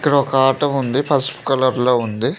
ఇక్కడ ఒక ఆటో ఉంది పసుపు కలర్ లో ఉంది.